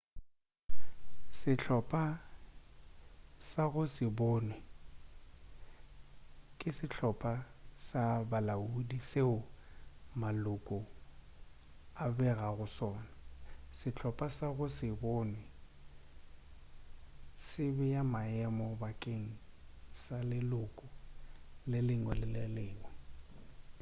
sehlopa sa go se bonwe ke sehlopa sa bolaodi seo maloko a begago go sona sehlopa sa go se bonwe se bea maemo bakeng sa leloko le lengwe le lengwe